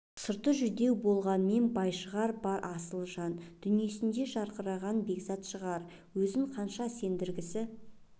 сырты жүдеу болғанмен бай шығар бар асылы жан дүниесінде жарқыраған бекзат шығар өзін қанша сендіргісі